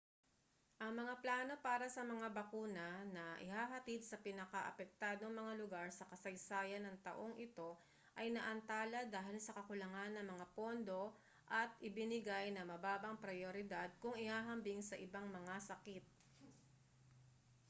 ang mga plano para sa mga bakuna na ihahatid sa pinakaapektadong mga lugar sa kasaysayan ng taong ito ay naantala dahil sa kakulangan ng mga pondo at ibinigay na mababang prayoridad kung ihahambing sa ibang mga sakit